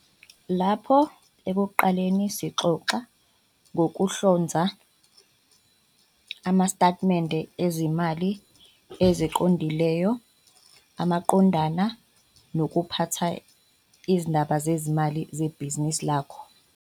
Lapho ekuqaleni sixoxe ngokuhlonza amastetimente ezimali eziqondileyo maqondana nokuphatha izindaba zezimali zebhizinisi lakho.